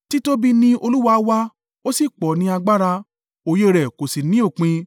Títóbi ni Olúwa wa ó sì pọ̀ ní agbára òye rẹ̀ kò sì ní òpin.